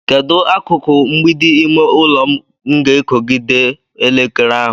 Kedu akụkụ mgbidi ime ụlọ m ga-ekogide elekere ahụ?